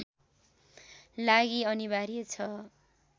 लागि अनिवार्य छ